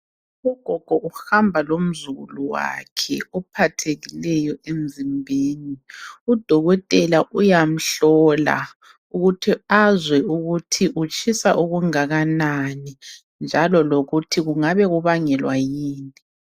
U gogo uhamba lomzukulu wakhe ophathekileyo emzimbeni .Udokotela uyamhlola ukuthi azwe ukuthi utshisa okungakanani njalo lokuthi kungabe kubangelwa yini.